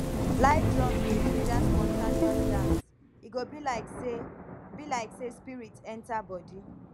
live drums dey ginger spontaneous dance e go be like say be like say spirit enter body